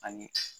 Ani